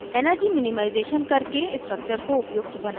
* energy minimization करके structure को उपयुक्त बनायें और